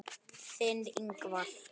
Þinn, Ingvar.